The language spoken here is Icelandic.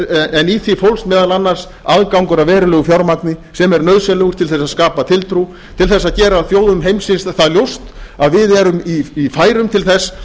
en í því fólst meðal annars aðgangur að verulegu fjármagni sem er nauðsynlegur til að skapa tiltrú til þess að gera þjóðum heimsins það ljóst að við erum í færum til þess